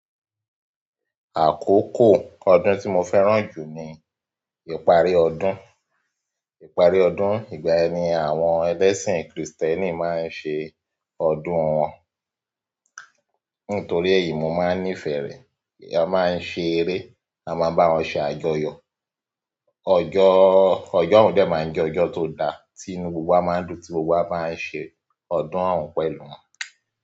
Àkókò ọdún tí mo fẹ́ràn jù ni ìparí ọdún, ìparí ọdún ìgbà ni àwọn ẹlẹ́sìn kìrìstẹ́nì máa ń ṣe ọdún wọn. Nítorí èyí, mo máa ń nífẹ̀ re. A máa ń ṣe eré, a máa n bá wọn ṣe àjọyọ̀. Ọjọ́, ọjọ́ hún dẹ máa ń jẹ́ ọjọ́ tó da tí inú gbogbo wa máa ń dùn tí gbogbo wa bá ń ṣe ọdún ọ̀ún pẹ̀lú wọn.